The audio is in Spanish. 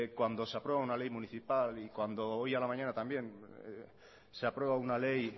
cuando se aprueba una ley municipal y cuando hoy a la mañana se aprueba una ley